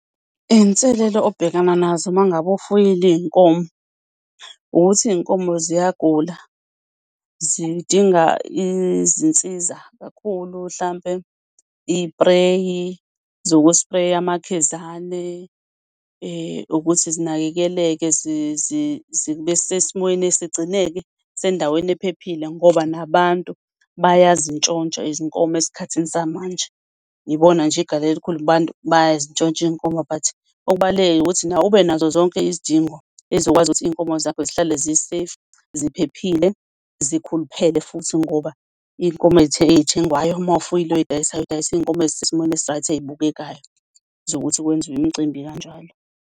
Iy'nselelo obhekana nazo uma ngabe ufuyile iy'nkomo, ukuthi iy'nkomo ziyagula. Zidinga izinsiza kakhulu hlampe iy'preyi zoku-spray-a amakhizane, ukuthi zinakekeleke zibe esesimweni esigcineke sendaweni ephephile, ngoba nabantu bayazintshontsha izinkomo esikhathini samanje. Ngibona nje eGalleria bayazintshontsha iy'nkomo, but okubaluleke ukuthi nawe ube nazo zonke izidingo ezokwazi ukuthi iy'nkomo zakho zihlale zi-safe ziphephile, zikhuluphele futhi, ngoba iy'nkomo ey'thengwayo uma ufuyile uy'dayisa udayisa iy'nkomo ezisesimweni esi-right, ey'bukekayo zokuthi kwenziwe imicimbi kanjalo.